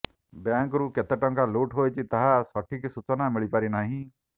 ବ୍ୟାଙ୍କ୍ରୁ କେତେ ଟଙ୍କା ଲୁଟ୍ ହୋଇଛି ତାହାର ସଠିକ୍ ସୂଚନା ମିଳିପାରିନାହିଁ